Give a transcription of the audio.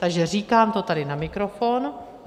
Takže říkám to tady na mikrofon.